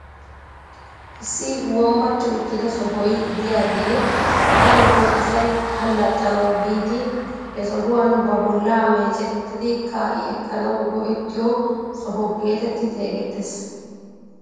Issi wombbati uttida sohoy de'iyaagee darotoo asay allaxanawu biidi he sohuwaan ba bollaa mecettiidi ka'i ekkanawu go"ettiyoo soho getetti xeegettees.